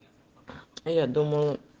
а я думал